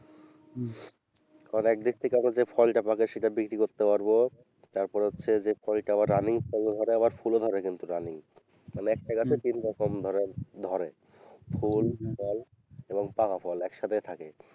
কারণ একদিক থেকে আমরা যে ফলটা পাকে সেটা বিক্রি করতে পারবো, তারপর হচ্ছে যে ফলটা আবার running ফল ধরে আবার ফুলও ধরে কিন্তু running মানে একটা গাছে তিনরকম ধরে ফুল ফল এবং পাকা ফল একসাথেই থাকে।